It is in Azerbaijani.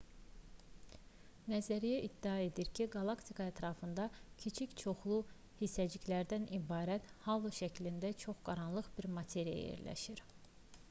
nəzəriyyə iddia edir ki qalaktika ətrafında kiçik çoxlu hissəciklərdən ibarət halo şəklində çox qaranlıq bir materiya yerləşir